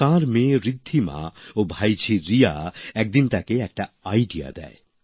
তার মেয়ে ঋদ্ধিমা ও ভাইঝি রিয়া একদিন তাকে একটি আইডিয়া দেয়